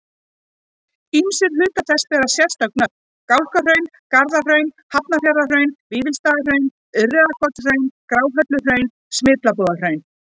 Ýmsir hlutar þess bera sérstök nöfn, Gálgahraun, Garðahraun, Hafnarfjarðarhraun, Vífilsstaðahraun, Urriðakotshraun, Gráhelluhraun, Smyrlabúðarhraun.